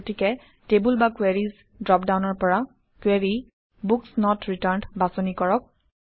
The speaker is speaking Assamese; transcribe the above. গতিকে টেবুল বা কুৱেৰিজ ড্ৰপডাউনৰ পৰা Query বুক নত ৰিটাৰ্ণ্ড বাছনি কৰক